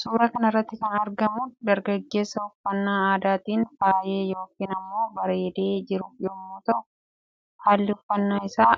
Suuraa kanarratti kan argamu dargaggeessa uffannaa aadaatiin fayye yookiin immoo bareede jiru yommu ta'uu halli uffannaa isaa